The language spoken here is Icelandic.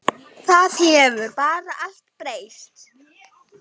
Það hefur bara allt breyst.